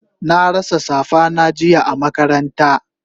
Na rasa safa na jiya a makaranta